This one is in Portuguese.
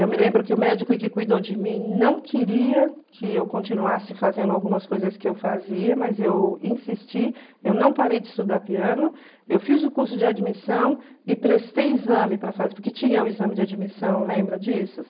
Eu me lembro que o médico que cuidou de mim não queria que eu continuasse fazendo algumas coisas que eu fazia, mas eu insisti, eu não parei de estudar piano, eu fiz o curso de admissão e prestei exame para fazer, porque tinha o exame de admissão, lembra disso?